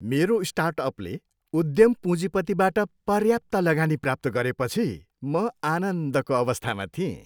मेरो स्टार्टअपले उद्यम पुँजीपतिबाट पर्याप्त लगानी प्राप्त गरेपछि म आनन्दको अवस्थामा थिएँ।